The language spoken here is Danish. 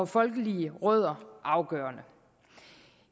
folkelige rødder afgørende